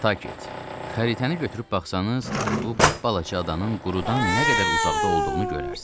Nantakit, xəritəni götürüb baxsanız, bu balaca adanın qurudan nə qədər uzaqda olduğunu görərsiniz.